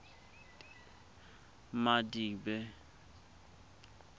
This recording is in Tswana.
madibe